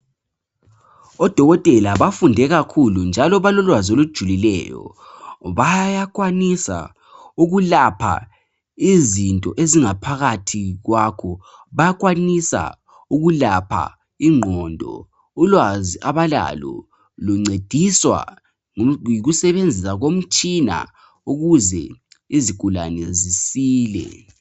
Odokotela bafunde kakhulu, njalo balolwazi olujulileyo, njalo bayakwanisa ukulapha izinto ezingaphakathi kwakho. Bayakwanisa ukulapha ingqondo. Ulwazi abalalo, luncediswa yikusebenzisa komtshina, ukuze izigulane zisile.